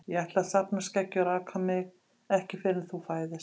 Ég ætla að safna skeggi og raka mig ekki fyrr en þú fæðist.